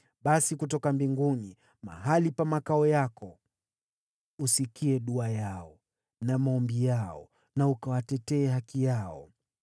basi kutoka mbinguni, mahali pa makao yako, usikie dua yao na maombi yao na kuitetea haki yao.